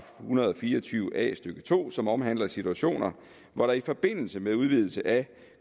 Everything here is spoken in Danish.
hundrede og fire og tyve a stykke to som omhandler situationer hvor der i forbindelse med udvidelse af